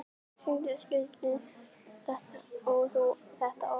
Sindri: Stundar þú þetta oft?